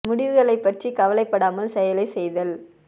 முடிவுகளை பற்றி கவலைப்படாமல் செயலை செய்தல்